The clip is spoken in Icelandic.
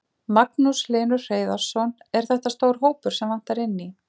Magnús Hlynur Hreiðarsson: Er þetta stór hópur sem vantar inn í?